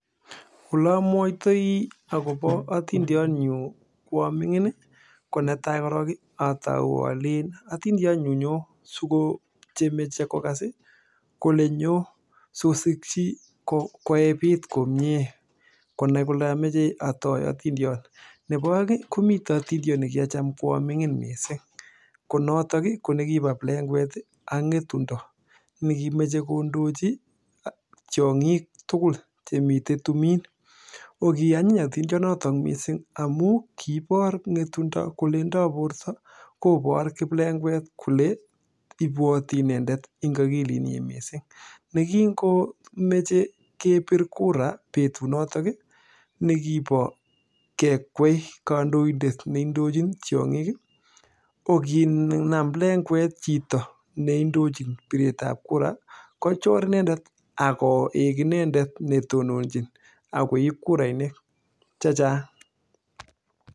Netai ii atauu alen atindiot nyuu nyoo sikochemeche kokas koebit komnyee nebo aeng amwae akoboo atindiot nyuu neboi plekwet ak ngetundo komechee kondochi tiongik tugul nekikikwee kandoindet koib kiplegwet kurainik chechang kobaishei akilit nyii